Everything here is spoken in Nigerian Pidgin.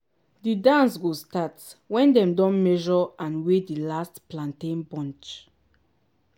di dance go start when dem don measure and weigh di last plantain bunch.